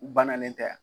Bananen tɛ yan